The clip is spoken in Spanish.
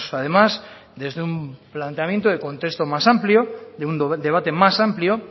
además desde un planteamiento de contexto más amplio de un debate más amplio